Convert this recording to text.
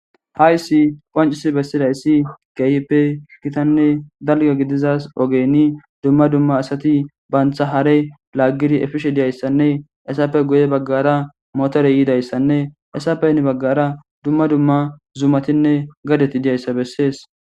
Haysi qonc'isibesidayayis kehipe gitane dalga gidiza ogeni duma duma asati banta hare lagishe efishe diyaysanne etape guye bagara motere yidaysanne haysape hini bagara duma duma zamatine gadeti diyaysa beses.